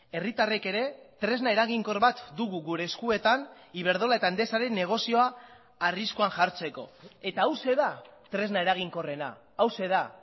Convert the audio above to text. herritarrek ere tresna eraginkor bat dugu gure eskuetan iberdrola eta endesaren negozioa arriskuan jartzeko eta hauxe da tresna eraginkorrena hauxe da